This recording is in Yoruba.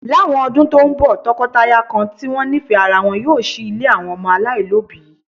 Láwọn ọdún tó ń bọ̀, tọkọtaya kan tí wọ́n nífẹ̀ẹ́ ara wọn yóò ṣí ilé àwọn ọmọ aláìlóbìí